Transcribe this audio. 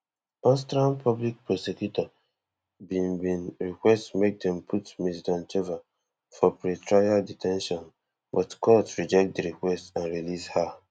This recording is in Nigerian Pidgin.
austrian public prosecutor bin bin request make dem put ms doncheva for pretrial de ten tion but court reject di request and release her